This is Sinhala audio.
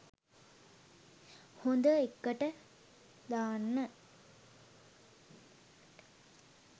හොඳ එක්කට දාන්න.